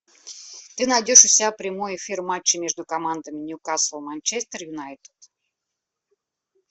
ты найдешь у себя прямой эфир матча между командами ньюкасл манчестер юнайтед